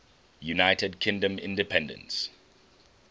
united kingdom independence